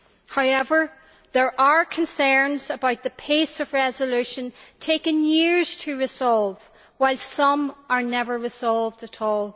However, there are concerns about the pace of resolution, some cases taking years to resolve while some are never resolved at all.